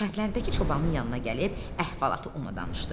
Kəndlərdəki çobanın yanına gəlib, əhvalatı ona danışdı.